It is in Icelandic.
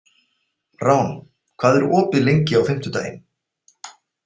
Rán, hvað er opið lengi á fimmtudaginn?